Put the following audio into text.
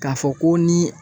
Ka fɔ ko ni